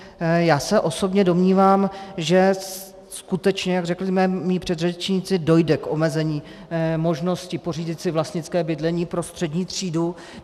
Já se osobně domnívám, že skutečně, jak řekli mí předřečníci, dojde k omezení možnosti pořídit si vlastnické bydlení pro střední třídu.